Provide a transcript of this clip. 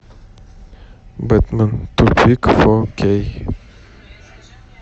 бэтмен тупик фо кей